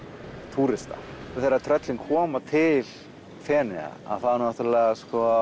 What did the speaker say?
túrista þegar tröllin koma til Feneyja þá náttúrulega